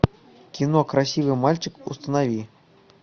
кино красивый мальчик установи